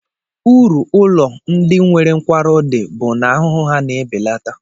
Uru ụlọ ndị nwere nkwarụ dị bụ na ahụhụ ha na-ebelata